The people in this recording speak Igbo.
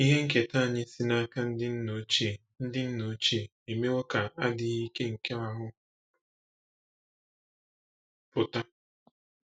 Ihe nketa anyị si n’aka ndị nna ochie ndị nna ochie emewo ka “adịghị ike nke ahụ́” pụta.